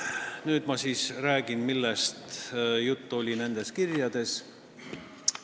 Nüüd ma räägin, millest oli juttu nendes kirjades.